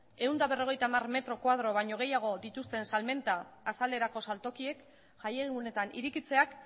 ehun eta berrogeita hamar metro karratua baino gehiago dituzten salmenta azalerako saltokiek jai egunetan irekitzeak